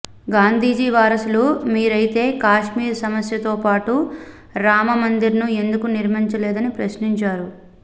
గాంధీజీ వారసులు మీరైతే కాశ్మీర్ సమస్య తో పాటు రామ మందిర్ ను ఎందుకు నిర్మిచలేదుని ప్రశ్నించారు